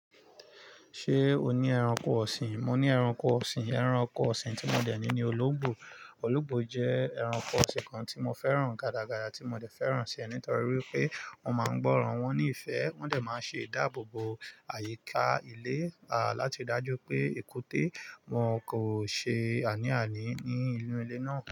Ṣé o ní ẹranko ọ̀sìn? Mo ní ẹranko ọ̀sìn. Ẹranko ọ̀sìn tí mo dẹ̀ ní ni olóǹgbò. Olóǹgbò jẹ́ ẹranko ọ̀sìn kan tí mo fẹ́ràn gádagáya tí mo dẹ̀ fẹ́ràn ṣe nítorí pé wọ́n máa ń gbọ́ran wọ́n ní ìfẹ́. Wọ́n dẹ̀ máa ń ṣe ìdáàbòbò àyíká ilé, à láti dájú pé èkúté wọn kò ṣe àní àní ní inú ilé náà.